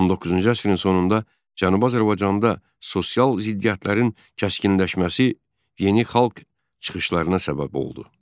19-cu əsrin sonunda Cənubi Azərbaycanda sosial ziddiyyətlərin kəskinləşməsi yeni xalq çıxışlarına səbəb oldu.